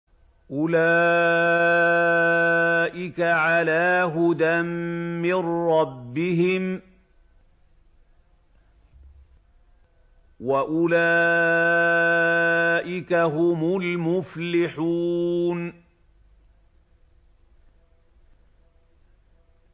أُولَٰئِكَ عَلَىٰ هُدًى مِّن رَّبِّهِمْ ۖ وَأُولَٰئِكَ هُمُ الْمُفْلِحُونَ